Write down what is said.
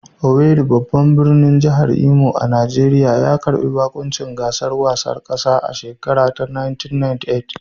Owerri, babban birnin jihar Imo a Najeriya, ya karbi baƙuncin gasar wasanni ta ƙasa a shekarar 1998